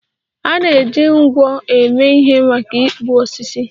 A na-eji nkwọ eme ihe maka ịkpụ osisi.